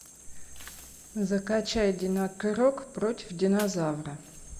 закачай динокрок против динозавра